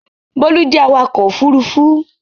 Bólú jẹ́ awakọ̀ ófurufú